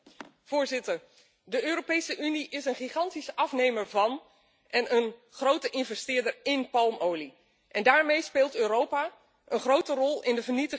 De Europese Unie is een gigantische afnemer van en een grote investeerder in palmolie en daarmee speelt Europa een grote rol in de vernietiging van onze planeet.